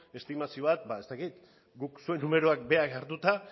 estimazio bat ba ez dakit guk zuen numeroak berak hartuta